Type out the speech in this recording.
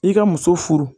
I ka muso furu